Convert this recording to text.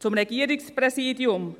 Zum Regierungspräsidium: